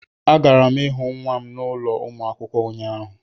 Agara m ịhụ nwa m n' ụlọ ụmụ akwụkwọ ụnyahụ